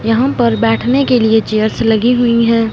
यहां पर बैठने के लिए चेयर्स लगी हुई हैं।